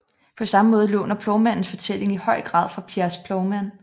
På samme måde låner Plovmandens fortælling i høj grad fra Piers Plowman